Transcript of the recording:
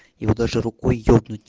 его даже рукой ебнуть